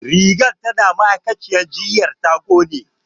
Rigar ta na ma'aikaciyyar jinya ya ƙone